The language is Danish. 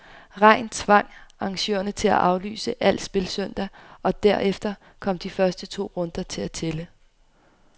Regn tvang arrangørerne til at aflyse al spil søndag, og derefter kom de første to runder til at tælle.